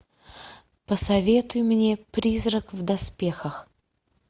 посоветуй мне призрак в доспехах